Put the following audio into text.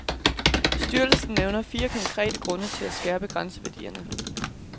Styrelsen nævner fire konkrete grunde til at skærpe grænseværdierne.